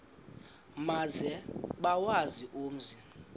maze bawazi umzi